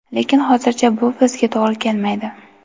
Lekin, hozircha bu bizga to‘g‘ri kelmaydi.